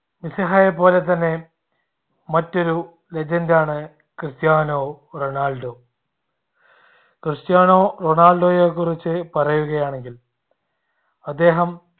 മെസ്സിഹയെപോലെതന്നെ മറ്റൊരു legend ആണ് Cristiano Ronaldo. Cristiano റൊണാൾഡോയെ കുറിച്ച് പറയുകയാണെങ്കിൽ അദ്ദേഹം